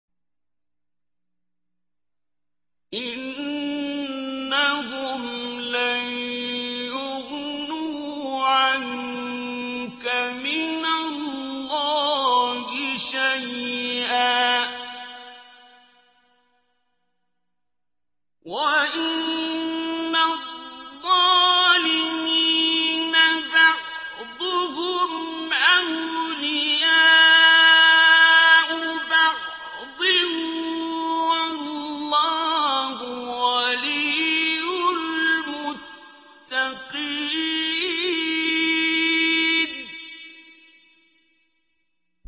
إِنَّهُمْ لَن يُغْنُوا عَنكَ مِنَ اللَّهِ شَيْئًا ۚ وَإِنَّ الظَّالِمِينَ بَعْضُهُمْ أَوْلِيَاءُ بَعْضٍ ۖ وَاللَّهُ وَلِيُّ الْمُتَّقِينَ